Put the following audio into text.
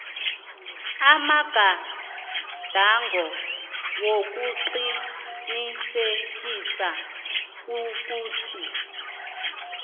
amagadango wokuqinisekisa ukuthi